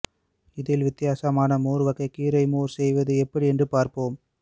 இதில் வித்தியாசமான மோர் வகையான கீரை மோர் செய்வது எப்படி என்று பார்ப்போம்